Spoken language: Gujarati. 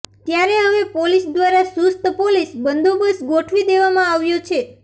ત્યારે હવે પોલીસ દ્વારા ચૂસ્ત પોલીસ બંદોબસ્ત ગોઠવી દેવામાં આવ્યો છે